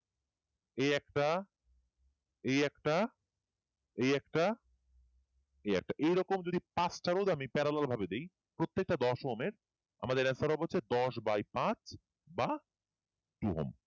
এই একটা এই একটা এই একটা এই একটা এই এরকম যদি পাঁচ টা রোধ parallel ভাবে দিই প্রত্যেকটা দশ ওহমের আমাদের দশ by পাঁচ বা two ওহম